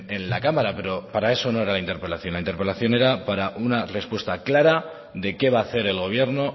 en la cámara pero para eso no era la interpelación la interpelación era para una respuesta clara de qué va a hacer el gobierno